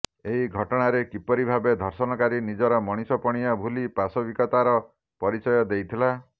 ଏହି ଘଟଣାରେ କିପରି ଭାବେ ଧର୍ଷଣକାରୀ ନିଜର ମଣିଷପଣିଆ ଭୁଲି ପାଶବିକତାର ପରିଚୟ ଦେଇଥିଲା